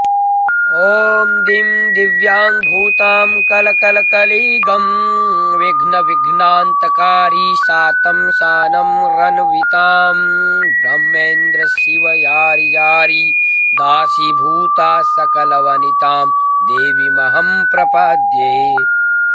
ॐ दिं दिव्याङ्गभूतां कलकलकलिगं विध्नविघ्नान्तकारी सातं सानं रन्वितां ब्रह्मेन्द्रशिवयारीजारी दासीभूता सकलवनितां देवीमहं प्रपद्ये